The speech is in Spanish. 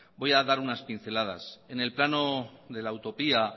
voy a dar unas pinceladas en el plano de la utopía